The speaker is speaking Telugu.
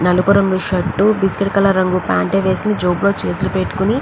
నలుపు రంగు షర్ట్ బిస్కెట్ కలర్ రంగు ప్యాంటు వేసుకుని జోబులో చేతులు పెట్టుకుని --